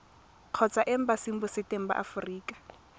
kgotsa embasing botseteng ba aforika